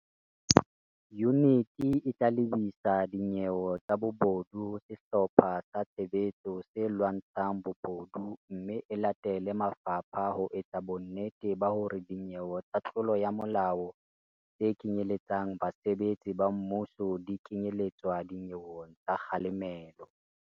Yuniti e tla lebisa dinyewe tsa bobodu ho Sehlopha sa Tshebetso se Lwantsha ng Bobodu mme e latele mafapha ho etsa bonnete ba hore dinyewe tsa tlolo ya molao tse kenyeletsang basebetsi ba mmuso di kenye letswa le dinyeweng tsa kga lemelo.